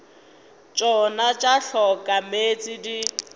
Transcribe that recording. tšona tša hloka meetse di